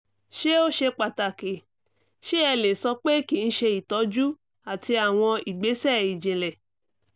ṣé ó ṣe pàtàkì?ṣé ẹ lè sọ pé kí n ṣe ìtọ́jú àti àwọn ìgbésẹ̀ ìjìnlẹ̀?